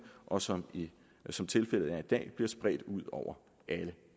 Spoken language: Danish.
og som som tilfældet er i dag bliver spredt ud over alle